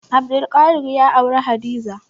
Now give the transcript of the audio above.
Abdulkadir ya auri Hadiza.